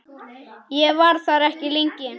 Ég var þar ekki lengi.